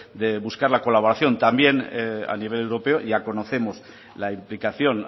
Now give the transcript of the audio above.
de buscar la colaboración también a nivel europeo ya conocemos la implicación